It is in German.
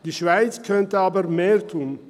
Die Schweiz könnte aber mehr tun.